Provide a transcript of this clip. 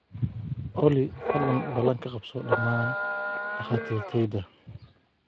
olly fadlan ballan ka qabso dhammaan dhakhaatiirtayda